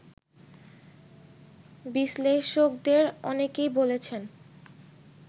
বিশ্লেষকদের অনেকেই বলেছেন